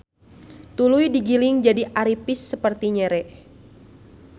Tuluy digiling jadi aripis saperti nyere.